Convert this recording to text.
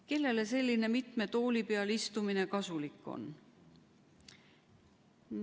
Kellele selline mitme tooli peal istumine kasulik on?